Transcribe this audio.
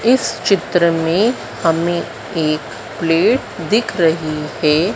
इस चित्र में हमें एक प्लेट दिख रही है।